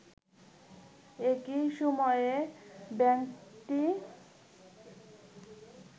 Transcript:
একই সময়ে ব্যাংকটি